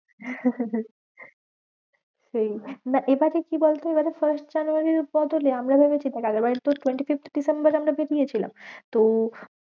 সেই না এবারে কি বলতো? এবারে first জানুয়ারীর বদলে আমরা যদি দেখ আগের বারে তো twenty-fifth ডিসেম্বরে আমরা বেরিয়েছিলাম। তো